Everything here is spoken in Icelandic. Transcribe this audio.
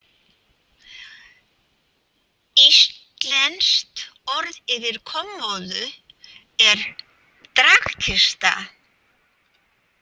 Íslenskt orð yfir kommóðu er dragkista.